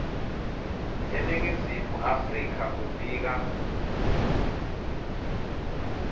eningizimu afrika kufika